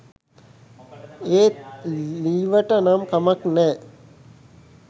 ඒත් ලීවට නම් කමක් නෑ